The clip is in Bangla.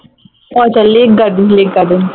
ও আচ্ছা লেক গার্ডেনস লেক গার্ডেনস